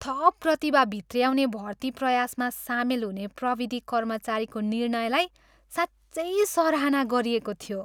थप प्रतिभा भित्र्याउने भर्ती प्रयासमा सामेल हुने प्रविधि कर्मचारीको निर्णयलाई साँच्चै सराहना गरिएको थियो।